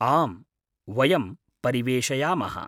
आम्, वयं परिवेषयामः।